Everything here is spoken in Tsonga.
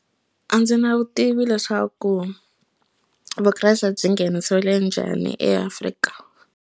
A ndzi na vutivi leswaku vukreste byi nghenisiwile njhani eAfrika.